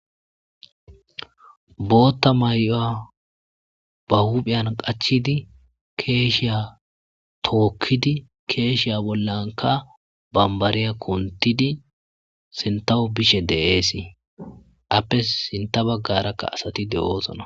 bootta may7oya ba huphiyan qachidi keeshiya tookkidi keeshiya bollanka bambariya kuntidi sintaho bishe deeesi appe sinta baggarakka asati de7oosona